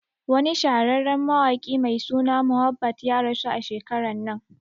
Wani shahararren mawaƙi mai suna Mohbad ya rasu a shekaran nan